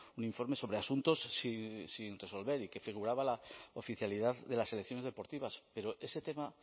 un informe sobre asuntos sin resolver y que figuraba la oficialidad de las selecciones deportivas pero ese tema